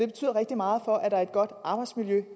betyder rigtig meget for at der er et godt arbejdsmiljø